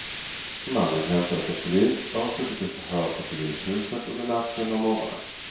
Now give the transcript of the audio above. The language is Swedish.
Mannen hämtades av polis och har suttit i förhör på polishuset under natten och morgonen.